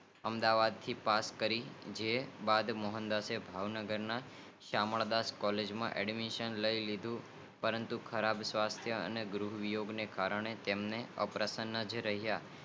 અમદાવાદ થી પાસ કરી જે બાદ મોહનદાસ ભાવનગર માં શ્યામ ડાંસર્સ કૉલેજ માં એડમિશન લીધું પરંતુ ખરાબ સ્વાર્થ અને ગૃહિયોગ ને કારણે અપ્રસનીય રહિયા